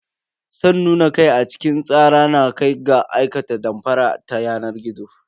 San nuna kai a cikin tsara na kai ga aikata damfara ta yanar gizo.